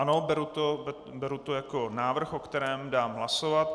Ano, beru to jako návrh, o kterém dám hlasovat.